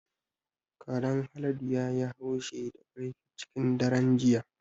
Karen Haladu ya yi haushi da ƙarfi cikin daren jiya.